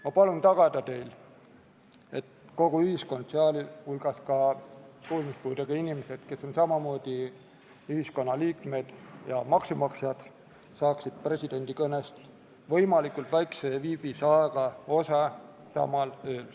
Ma palun teil tagada, et kogu ühiskond, sh kuulmispuudega inimesed, kes on samamoodi ühiskonna liikmed ja maksumaksjad, saaksid presidendi kõnest võimalikult väikese viivitusega osa samal ööl.